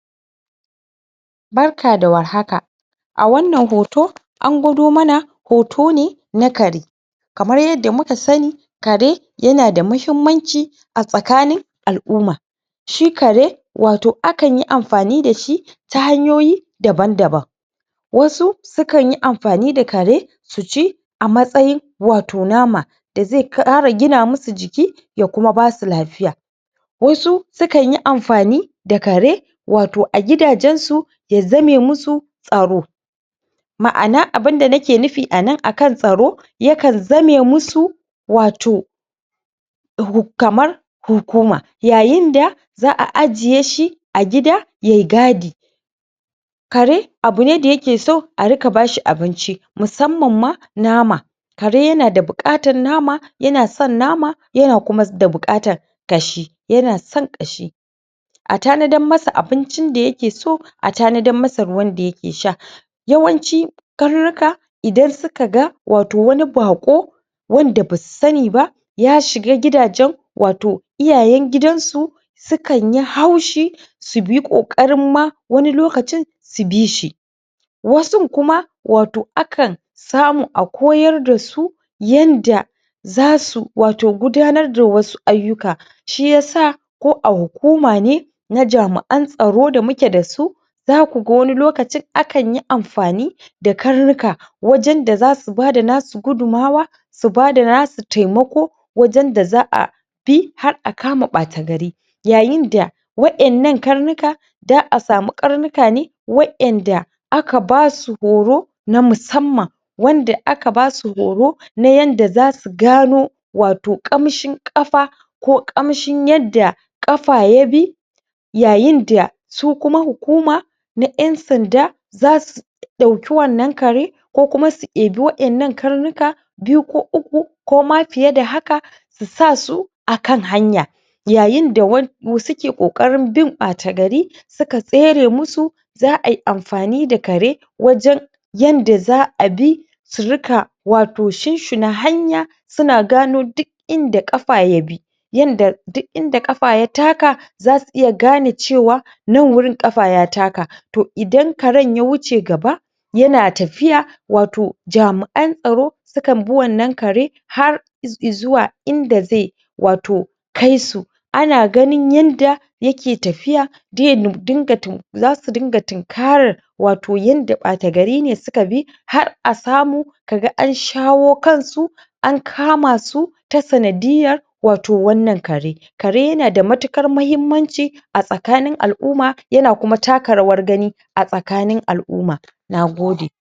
Barka da warhaka! a wannan hoto an gwado mana hoto ne na kare kamar yanda muka sanni kare yana da muhimmanci a tsakanin al'umma shi kare wato akan yi amfani dashi ta hanyoyi daban-daban wasu sukan yi amfani da kare su ci a matsayin wato nama da zai ƙara gina musu jiki ya kuma basu lafiya wasu su kanyi amfani da kare wato a gidajen su ya zame musu tsaro ma'ana abinda nake nufi a nan akan tsaro ya kan zame musu wato kamar hukuma yayin da za'a ajiye shi a gida ye gadi kare abune da yake so arika bashi abinci musamman ma nama kare yana da buƙatan nama yana san nama yana kuma da buƙatan gashi yana son ƙashi a tanadan masa abincin da yake so a tanadan masa ruwan da yake sha yawanci garurruka idan suka ga wato wani baƙo wanda basu sanni ba ya shiga gidajen wato iyayen gidan su su kanyi haushi su bi ƙoƙarin ma wani lokacin su bishi wasun kuma wato akan samu a koyar dasu yanda zasu wato gudanar da wasu ayyuka shiyasa ko a hukuma ne na jamu'an tsaro da muke dasu zaku ga wani lokacin a kanyi amfani da karnuka wajan da zasu bada nasu gudunmawa su bada nasu taimako wajen da za'a bi har a kama ɓata gari yayin da wa'innan karnuka za'a samu ƙarnuka ne wa'inda aka basu horo na musamman wanda aka basu horo na yanda zasu gano wato ƙamshin ƙafa ko ƙamshin yanda ƙafa ya bi yayin da su kuma hukuma na ƴan sanda zasu ɗauki wannan kare ko kuma su ebi wa'innan karnuka biyu ko uku ko ma fiye da haka su sa su akan hanya yayin da wa su suke ƙoƙarin bin ɓata gari suka tsere musu za ai amfani da kare wajan yanda za'a bi su rika wato shunshuna hanya suna gano dik inda ƙafa ya bi yanda duk inda ƙafa ya taka zasu iya gane cewa nan wurin ƙafa ya taka toh idan karen ya wuce gaba yana tafiya wato jami'an tsaro sukan bi wannan kare har iz i zuwa inda zai wato kai su ana ganin yanda yake tafiya zasu dunga tun karar wato yanda ɓata garine suka bi har a samu kaga an shawo kan su an kamasu ta sanadiyyar wato wannan kare kare yana da matukar mahimmanci a tsakanin al'umma yana kuma taka rawar gani a tsakanin al'umma Nagpde!